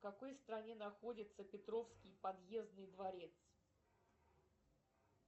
в какой стране находится петровский подъездный дворец